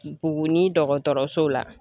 Buguni dɔgɔtɔrɔso la